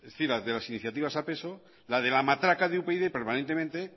es decir las iniciativas a peso la de la matraca de upyd permanentemente